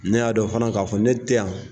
Ne y'a dɔn fana k'a fɔ ne tɛ yan